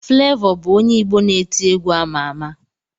Flevọ bụ onye Igbo na-eti egwu ama ama.